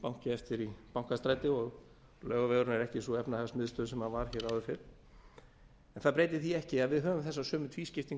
banki eftir í bankastræti og laugavegurinn er ekki sú efnahagsmiðstöð sem hann var áður fyrr en það breytir því ekki að við höfum þessa sömu tvískiptingu